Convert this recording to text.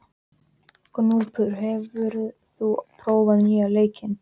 Gnúpur, hefur þú prófað nýja leikinn?